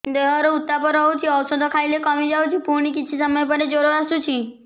ଦେହର ଉତ୍ତାପ ରହୁଛି ଔଷଧ ଖାଇଲେ କମିଯାଉଛି ପୁଣି କିଛି ସମୟ ପରେ ଜ୍ୱର ଆସୁଛି